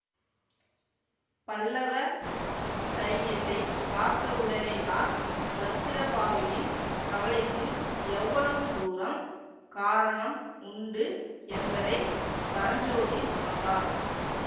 பல்லவ சைனியத்தை பார்த்தவுடனேதான் வஜ்ரபாஹுவின் கவலைக்கு எவ்வளவு தூரம் காரணம் உண்டு என்பதை பரஞ்சோதி உணர்ந்தான்